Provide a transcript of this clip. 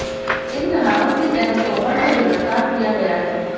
इन धाराओं के तहत तोमर को गिरफ्तार किया गया है